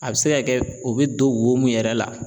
A bɛ se ka kɛ o bɛ don wo mun yɛrɛ la